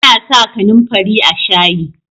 ana sa kanin fari a shayi